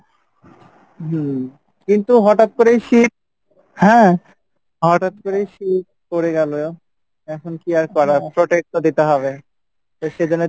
হম কিন্তু হটাৎ করেই শীত হ্যাঁ হটাৎ করেই শীত পরে গেলো এখন কী আর করা, protect তো দিতে হবে, তো সেজন্য তো